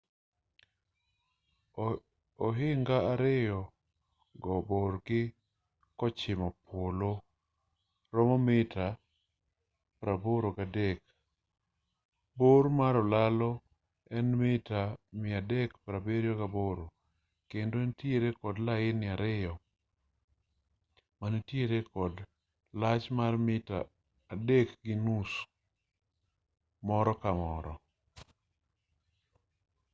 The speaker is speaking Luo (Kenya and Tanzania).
ohinga ariyo go borgi kochimo polo romo mita 83 bor mar olalo en mita 378 kendo entiere kod laini ariyo manitiere kod lach mar mita 3.50 moro ka moro